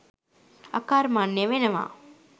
අකර්මණ්‍ය වෙනවා.